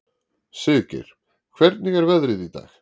Siggeir, hvernig er veðrið í dag?